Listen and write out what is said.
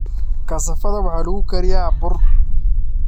Kasaafada waxaa lagu kariyaa bur kasaafada.